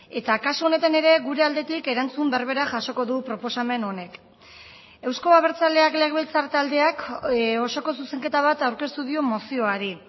eta kasu honetan ere gure aldetik erantzun berbera jasoko du proposamen honek euzko abertzaleak legebiltzar taldeak osoko zuzenketa bat aurkeztu dio mozioari